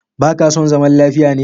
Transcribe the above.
Baka son zaman lafiya ne?